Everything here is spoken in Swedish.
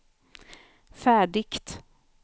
färdigt